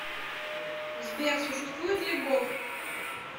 сбер существует ли бог